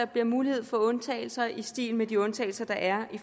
bliver mulighed for undtagelser i stil med de undtagelser der er